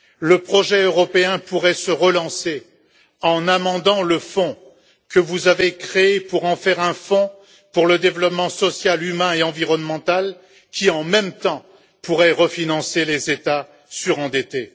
Le projet européen pourrait se relancer en amendant le fonds que vous avez créé pour en faire un fonds pour le développement social, humain et environnemental qui, en même temps, pourrait refinancer les États surendettés.